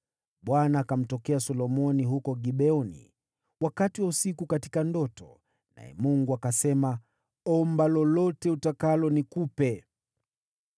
Bwana akamtokea Solomoni huko Gibeoni wakati wa usiku katika ndoto, naye Mungu akasema, “Omba lolote utakalo nikupe.”